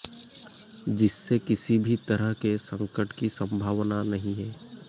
जिससे किसी भी तरह के संकट की संभावना नहीं है